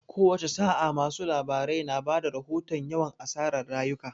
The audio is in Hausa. Kowace sa'a, masu labarai na ba da rahoton yawan asarar rayuka.